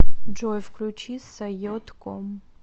джой включи саййод ком